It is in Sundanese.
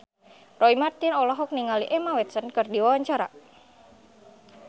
Roy Marten olohok ningali Emma Watson keur diwawancara